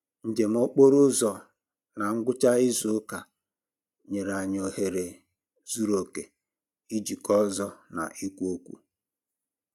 Njem okporo ụzọ na ngwụcha izu ụka nyere anyị ohere zuru oke ijikọ ọzọ na ikwu okwu